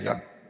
Aitäh!